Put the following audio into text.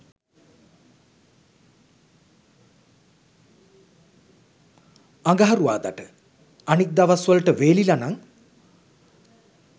අඟරුවාදට.අනික් දවස් වලට වෙලිලනං